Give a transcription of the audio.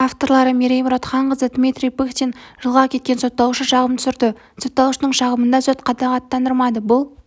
авторлары мерей мұратханқызы дмитрий пыхтин жылға кеткен сотталушы шағым түсірді сотталушының шағымын да сот қанағаттандырмады бұл